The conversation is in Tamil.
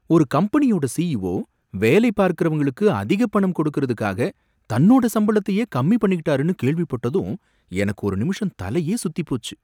ஒரு கம்பெனியோட சிஈஓ வேலைபார்க்கறவங்களுக்கு அதிக பணம் கொடுக்கறதுக்காக தன்னோட சம்பளத்தையே கம்மி பண்ணிக்கிட்டாருன்னு கேள்விப்பட்டதும் எனக்கு ஒரு நிமிஷம் தலையே சுத்திப் போச்சு.